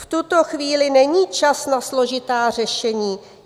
V tuto chvíli není čas na složitá řešení.